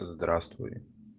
здравствуй